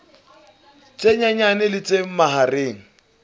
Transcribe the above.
tse nyenyane le tse mahareng